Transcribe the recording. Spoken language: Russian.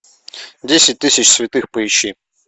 десять тысяч святых поищи